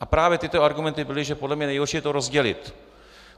A právě tyto argumenty byly, že podle mě nejhorší je to rozdělit.